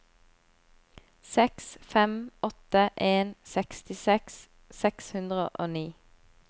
seks fem åtte en sekstiseks seks hundre og ni